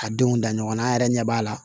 A denw da ɲɔgɔn na an yɛrɛ ɲɛ b'a la